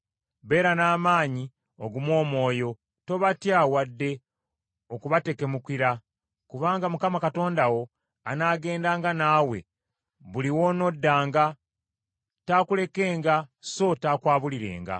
Beera n’amaanyi era ogume omwoyo. Tobatya wadde okubatekemukira, kubanga Mukama Katonda wo anaagendanga naawe buli w’onoddanga, taakulekenga so taakwabulirenga.”